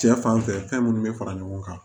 Cɛ fanfɛ fɛn munnu be fara ɲɔgɔn kan